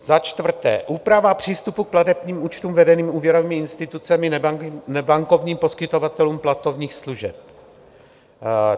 Za čtvrté, úprava přístupu k platebním účtům vedených úvěrovými institucemi nebankovním poskytovatelům platebních služeb.